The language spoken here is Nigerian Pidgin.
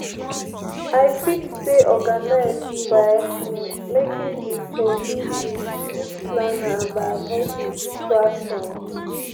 i fit stay organized by um making di 'to-do' list use planner and by avoiding distractions.